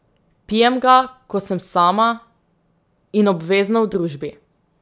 Pijem ga, ko sem sama, in obvezno v družbi.